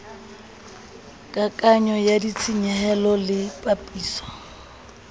kakanyo ya ditshenyehelo le papiso